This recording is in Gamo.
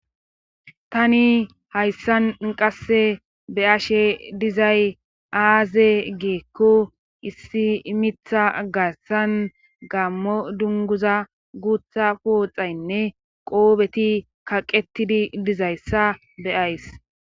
Tani hayssan qasse be ashe dizay aaze geekko issi imitha gassan gammo dunguza guutha pooxaynne qoobeti kaqettidi dizayssa beyays